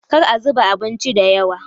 kar a zuba abincin da yawa!